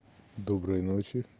доброй ночи